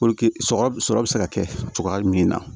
Puruke sɔrɔ sɔrɔ bɛ se ka kɛ cogoya jumɛn na